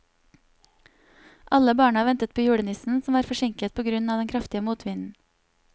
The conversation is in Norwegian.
Alle barna ventet på julenissen, som var forsinket på grunn av den kraftige motvinden.